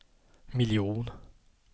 miljon